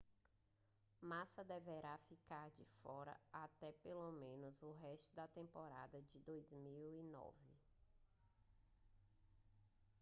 massa deverá ficar de fora até pelo menos o resto da temporada de 2009